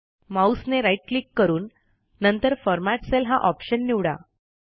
Mouse right click करून नंतर format cell हा ऑप्शन निवडा